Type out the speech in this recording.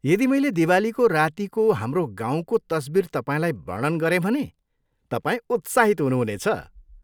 यदि मैले दिवालीको रातीको हाम्रो गाउँको तस्वीर तपाईँलाई वर्णन गरेँ भने तपाईँ उत्साहित हुनुहुनेछ।